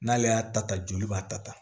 N'ale y'a ta ta joli b'a ta ta